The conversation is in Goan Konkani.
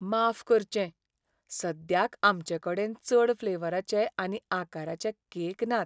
माफ करचें, सद्याक आमचेंकडेन चड फ्लेवराचे आनी आकाराचे केक नात.